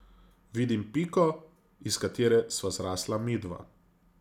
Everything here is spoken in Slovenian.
Vidim piko, iz katere sva zrasla midva.